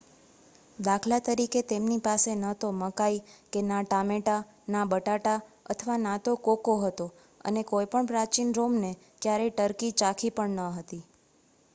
દાખલા તરીકે તેમની પાસે ન તો મકાઈ કે ના ટામેટાં ના બટાટા અથવા ના તો કોકો હતો અને કોઈ પણ પ્રાચીન રોમને ક્યારેય ટર્કી ચાખી પણ ન હતી